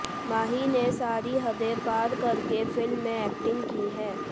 माही ने सारी हदें पारकरके फिल्म में एक्टिंग की है